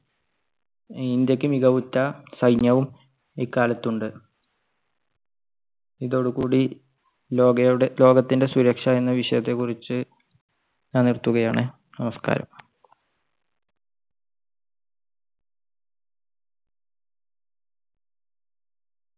ഇന്ത്യയ്ക്ക് മികവുറ്റ സൈന്യവും ഇക്കാലത്ത് ഉണ്ട്. ഇതോടുകൂടി ലോ കയുടെ~ ലോകത്തിൻടെ സുരക്ഷ എന്ന വിഷയത്തെക്കുറിച്ച് ഞാൻ നിർത്തുകയാണ് നമസ്കാരം.